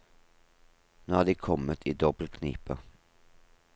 Nå er de kommet i dobbelt knipe.